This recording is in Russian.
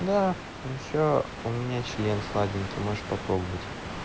да ещё у меня член сладенький можешь попробовать